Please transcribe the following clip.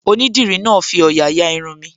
Onídìrí náà fi òyà ya Irun mi